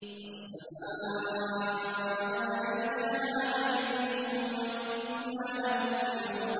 وَالسَّمَاءَ بَنَيْنَاهَا بِأَيْدٍ وَإِنَّا لَمُوسِعُونَ